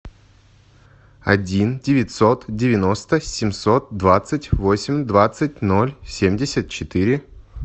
один девятьсот девяносто семьсот двадцать восемь двадцать ноль семьдесят четыре